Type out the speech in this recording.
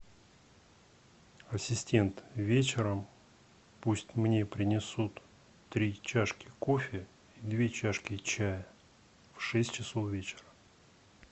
ассистент вечером пусть мне принесут три чашки кофе две чашки чая в шесть часов вечера